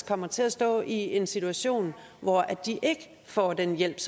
kommer til at stå i en situation hvor de ikke får den hjælp